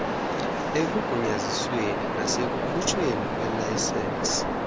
ekugunyazisweni nasekukhutshweni kweelayisensi